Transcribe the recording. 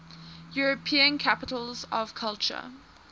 european capitals of culture